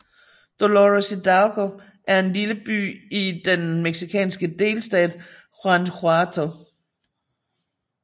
Dolores Hidalgo er en lille by i den mexicanske delstat Guanajuato